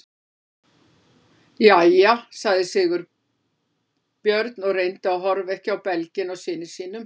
Jæja- sagði Sveinbjörn og reyndi að horfa ekki á belginn á syni sínum.